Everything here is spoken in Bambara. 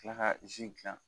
Tila ka dilan